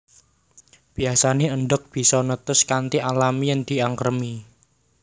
Biyasané endhog bisa netes kanthi alami yèn diangkremi